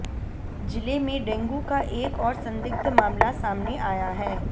जिले में डेंगू का एक और संदिग्ध मामला सामने आया है